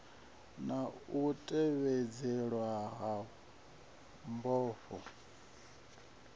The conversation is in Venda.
na u tevhedzelwa ha mbofho